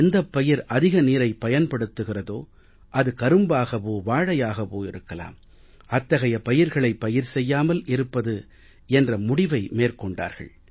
எந்தப் பயிர் அதிக நீரைப் பயன்படுத்துகிறதோ அது கரும்பாகவோ வாழையாகவோ இருக்கலாம் அத்தகைய பயிர்களை பயிர் செய்யாமல் இருப்பது என்ற முடிவை மேற்கொண்டார்கள்